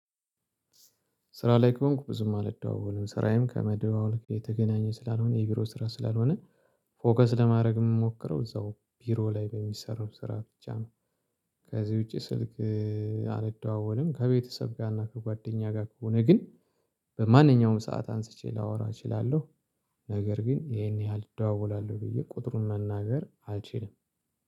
ስራ ላይ ከሆንኩ ብዙም አልደዋወልም ስራዬም ከመደዋወል ጋር የተገናኘ ስላልሆነ የቢሮ ስራ ስላልሆነ ፎከስ ለማድረግ የምሞክረው እዛው ቢሮ ላይ በሚሰሩ ስራ ብቻ ነው። ከዚህ ውጪ ስልክ አልደዋወልም ከቤተሰብ ጋርና ከጓደኛ ጋር ከሆነ ግን በማንኛውም ሰዓት አንስቼ ላወራ እችላለሁ። ነገር ግን ይሄን ያህል እደዋወላለሁ ብዬ ቁጥሩን መናገር አልችልም